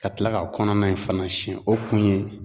Ka tila k'a kɔnɔna in fana siyɛn o kun ye